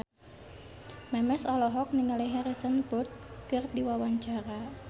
Memes olohok ningali Harrison Ford keur diwawancara